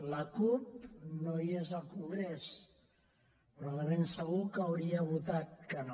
la cup no hi és al congrés però de ben segur que hauria votat que no